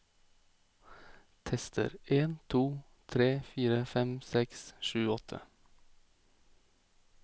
Tester en to tre fire fem seks sju åtte